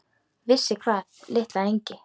Vissi hvað, litla engi-?